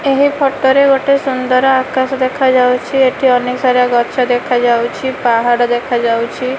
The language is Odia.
ଏହି ଫଟୋ ରେ ଗୋଟେ ସୁନ୍ଦର ଆକାଶ ଦେଖାଯାଉଛି ଏଠି ଅନେକ ସାରା ଗଛ ଦେଖାଯାଉଛି ପାହାଡ ଦେଖାଯାଉଛି।